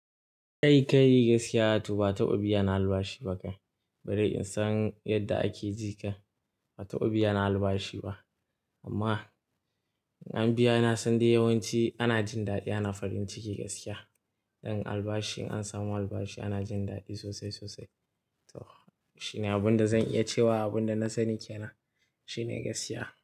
Ai kai gaskiya to ba taɓa biya na albashi ba ka, bari in san yadda ake ji kam ba taɓa ya albashi ba. Amma an biya na san dai yawanci ana jin daɗi ana farin ciki gaskiya. Don albashi in an samu albashi ana jin daɗi sosai sosai. To shine abin da zan iya cewa abin da na sani kena shine gaskiya.